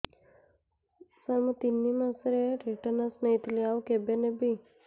ସାର ମୁ ତିନି ମାସରେ ଟିଟାନସ ନେଇଥିଲି ଆଉ କେବେ ନେବି